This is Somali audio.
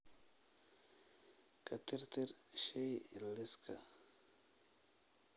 ka tirtir shay liiska